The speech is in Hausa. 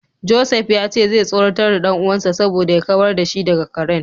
Joseph ya ce zai tsoratar da dan uwansa saboda ya kawar da shi daga karen.